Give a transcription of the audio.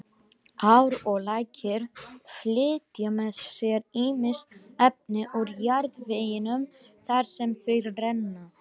Ár og lækir flytja með sér ýmis efni úr jarðveginum þar sem þau renna.